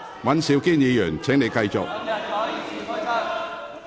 尹兆堅議員，請繼續發言。